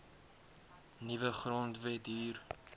nuwe grondwet hier